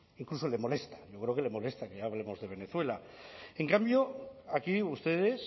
incluso le molesta yo creo que le molesta que hablemos de venezuela en cambio aquí ustedes